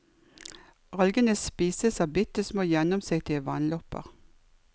Algene spises av bitte små gjennomsiktige vannlopper.